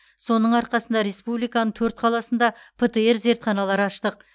соның арқасында республиканың төрт қаласында птр зертханалар аштық